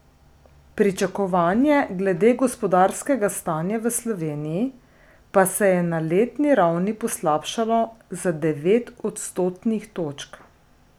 Pričakovanje glede gospodarskega stanja v Sloveniji pa se je na letni ravni poslabšalo za devet odstotnih točk.